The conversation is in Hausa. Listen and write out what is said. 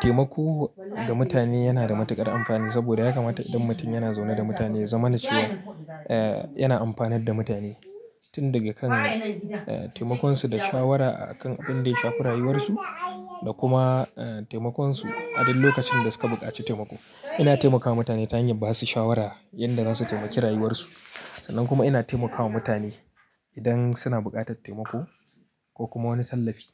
Taimako ga mutane yana da matuƙar amfani sabida yakamata idan mutum yana zaune da mutane ya zamana cewa, eh yana amfanar da mutane. Tun daga kan eh taimakonsu da shawara a kan abinda ya shafi rayuwarsu da kuma eh taimakonsu a duk lokacin da suka buƙaci taimako. Ina taimakawa mutane ta hanyar basu shawara yanda zasu taimaki rayuwarsu. Sannan kuma ina taimakawa mutane idan suna buƙatar taimako ko kuma wani tallafi.